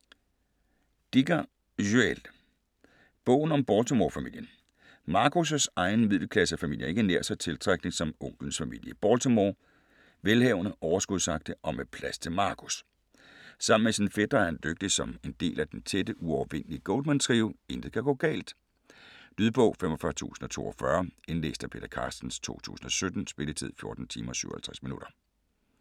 Dicker, Joël: Bogen om Baltimore-familien Marcus' egen middelklassefamilie er ikke nær så tiltrækkende som onklens familie i Baltimore - velhavende, overskudsagtig og med plads til Marcus. Sammen med sine fætre er han lykkelig som en del af den tætte, uovervindelige Goldman-trio. Intet kan gå galt. Lydbog 45042 Indlæst af Peter Carstens, 2017. Spilletid: 14 timer, 57 minutter.